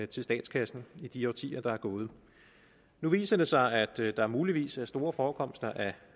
til statskassen i de årtier der er gået nu viser det sig at der muligvis er store forekomster af